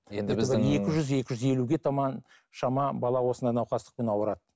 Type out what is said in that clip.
енді біздің екі жүз екі жүз елуге таман шама бала осындай науқастықпен ауырады